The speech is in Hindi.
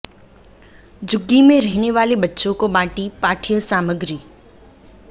झुग्गी में रहने वाले बच्चों को बांटी पाठ्य सामग्री